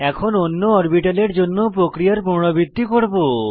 এখন অন্য অরবিটালের জন্য প্রক্রিয়ার পুনরাবৃত্তি করব